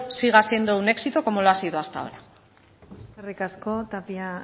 siga siendo un éxito como lo ha sido hasta ahora eskerrik asko tapia